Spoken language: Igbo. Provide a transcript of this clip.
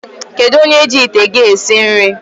Kedụ onye ji ite gị esi nri?